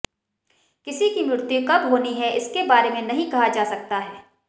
किसी की मृत्यु कब होनी है इसके बारे नहीं कहा जा सकता है